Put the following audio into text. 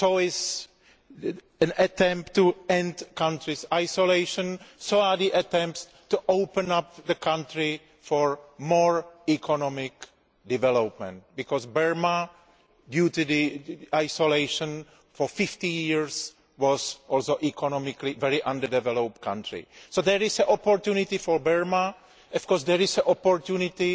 So is an attempt to end the country's isolation and so are the attempts to open up the country for more economic development, because Burma, due to its isolation for 50 years, was also economically a very underdeveloped country. So there is an opportunity for Burma, and of course there is also an opportunity